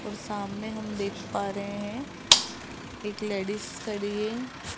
और सामने हम देख पा रहे हैं एक लेडीस खड़ी है।